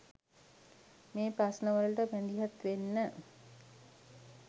මේ ප්‍රශ්නවලට මැදිහත් වෙන්න